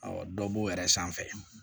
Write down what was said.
dɔ b'o yɛrɛ sanfɛ